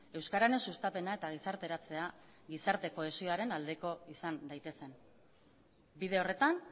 euskararen sustapena eta gizarteratzea gizarte kohesioaren aldeko izan daitezen bide horretan